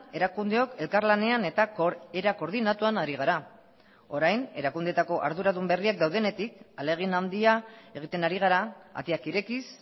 erakundeok elkarlanean eta era koordinatuan ari gara orain erakundeetako arduradun berriak daudenetik ahalegin handia egiten ari gara ateak irekiz